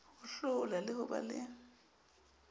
hohlola le ho ba le